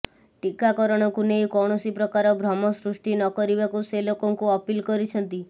ଟୀକାକରଣକୁ ନେଇ କୌଣସି ପ୍ରକାର ଭ୍ରମ ସୃଷ୍ଟି ନ କରିବାକୁ ସେ ଲୋକଙ୍କୁ ଅପିଲ କରିଛନ୍ତି